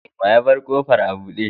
Wa ya bar kofan abude?